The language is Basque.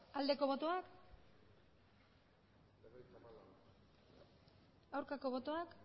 aldeko botoak aurkako botoak